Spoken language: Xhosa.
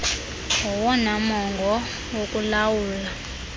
ngowona mongo wokulawula